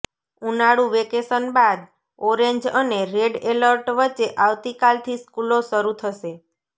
ઉનાળુ વેકેશન બાદ ઓરેન્જ અને રેડ એલર્ટ વચ્ચે આવતીકાલથી સ્કૂલો શરૂ થશે